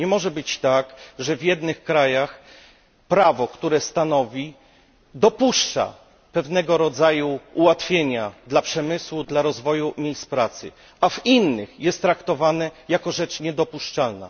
Nie może być tak, że w niektórych państwach prawo dopuszcza pewnego rodzaju ułatwienia dla przemysłu, dla rozwoju miejsc pracy, a w innych jest traktowane jako rzecz niedopuszczalna.